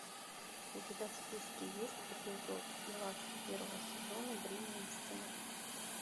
у тебя в списке есть эпизод двадцать первого сезона бремя истины